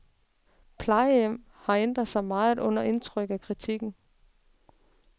Plejehjem har ændret sig meget under indtryk af kritikken.